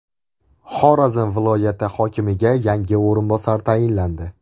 Xorazm viloyati hokimiga yangi o‘rinbosar tayinlandi.